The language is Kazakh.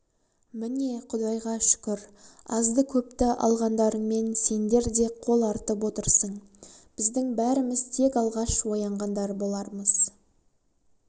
міне құдайға шүкір азды-көпті алғандарыңмен сендер де қол артып отырсың біздің бәріміз тек алғаш оянғандар болармыз